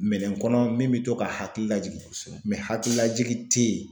Minɛn kɔnɔ min be to k'a hakili lajigin kosɛbɛ hakililajigi te ye